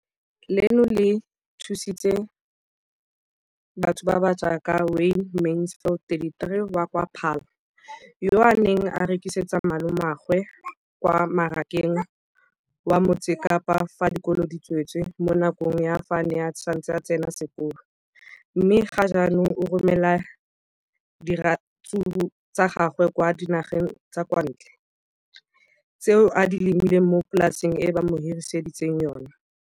Leno le thusitse batho ba ba jaaka Wayne Mansfield 33 wa kwa Paarl, yo a neng a rekisetsa malomagwe kwa Marakeng wa Motsekapa fa dikolo di tswaletse, mo nakong ya fa a ne a santse a tsena sekolo, mme ga jaanong o romela diratsuru tsa gagwe kwa dinageng tsa kwa ntle tseo a di lemileng mo polaseng eo ba mo hiriseditseng yona.